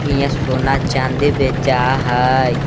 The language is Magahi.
हियाँ सोना चांदी बेचा हई।